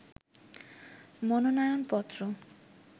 মনোনয়ন পত্র